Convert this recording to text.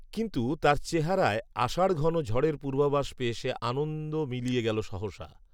কিন্তু তার চেহারায় আষাঢ়ঘন ঝড়ের পূর্বাভাস পেয়ে সে আনন্দ মিলিয়ে গেল সহসা